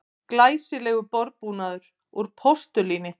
Glæsilegur borðbúnaður úr postulíni